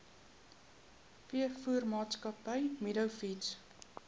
veevoermaatskappy meadow feeds